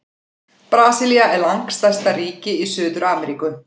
Brasilía er langstærsta ríki í Suður-Ameríku.